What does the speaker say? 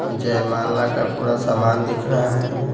जय माला का पूरा सामान दिख रहा है।